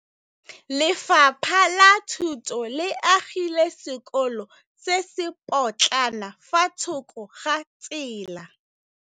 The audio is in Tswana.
Lefapha la Thuto le agile sekôlô se se pôtlana fa thoko ga tsela.